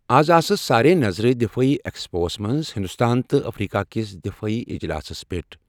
آز آسہٕ سارنٕے نظرٕ دِفٲعی ایکسپوَس منٛز ہندوستان تہٕ افریقہ کِس دِفٲعی اجلاسَس پٮ۪ٹھ۔